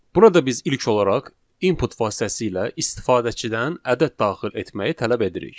Burada biz ilk olaraq input vasitəsilə istifadəçidən ədəd daxil etməyi tələb edirik.